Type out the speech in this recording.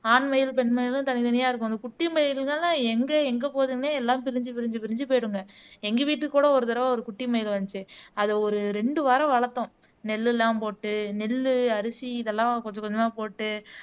ஆண் மயிலும் பெண் மயிலும் தனித்தனியா இருக்கும் அந்த குட்டி மயில்கள்ன்னா எங்க எங்க போகுதுன்னே எல்லாம் பிரிஞ்சு பிரிஞ்சு பிரிஞ்சு போயிடுங்க எங்க வீட்டுக்கு கூட ஒரு தடவை ஒரு குட்டி மயில் வந்துச்சு அதை ஒரு ரெண்டு வாரம் வளர்த்தோம் நெல்லெல்லாம் போட்டு நெல்லு அரிசி இதெல்லாம் கொஞ்சம் கொஞ்சமா போட்டு